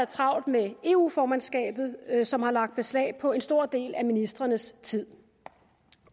travlt med eu formandskabet som har lagt beslag på en stor del af ministrenes tid